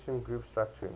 christian group structuring